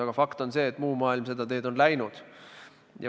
Aga fakt on see, et muu maailm on seda teed läinud.